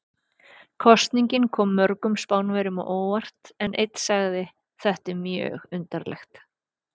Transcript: Kosningin kom mörgum Spánverjum á óvart en einn sagði: Þetta er mjög undarlegt.